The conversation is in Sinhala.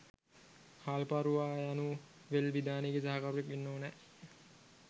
හාල්පාරුවා යනු වෙල් විදානේ ගේ සහකරුවෙක් වෙන්න ඕනෑ.